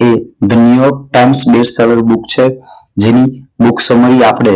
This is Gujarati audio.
the newyork times best seller book છે જેની book summary આપણે